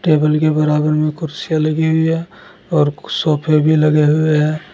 के बराबर में कुर्सियां लगी हुई है और कुछ सोफे भी लगे हुए है।